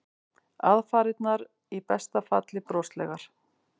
Aðfarirnar í besta falli broslegar.